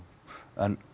en